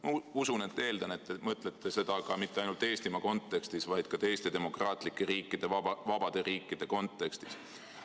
Ma usun ja eeldan, et te mõtlete seda mitte ainult Eesti kontekstis, vaid ka teiste demokraatlike riikide, vabade riikide kontekstis.